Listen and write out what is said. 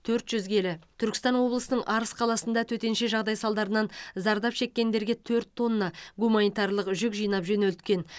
төрт жүз келі түркістан облысының арыс қаласында төтенше жағдай салдарынан зардап шеккендерге төрт тонна гуманитарлық жүк жинап жөнелткен